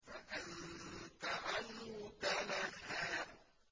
فَأَنتَ عَنْهُ تَلَهَّىٰ